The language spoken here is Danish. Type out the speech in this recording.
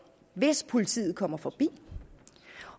hvis politiet kommer forbi